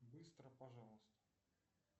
быстро пожалуйста